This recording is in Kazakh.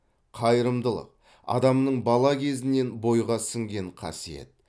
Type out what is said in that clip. қайырымдылық адамның бала кезінен бойға сіңген қасиет